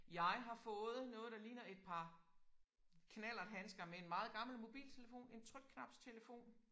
Jeg har fået noget der ligner et par knallerthandkser med en meget gammel mobiltelefon en trykknapstelefon